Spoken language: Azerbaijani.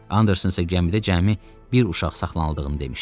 Anderson isə gəmidə cəmi bir uşaq saxlanıldığını demişdi.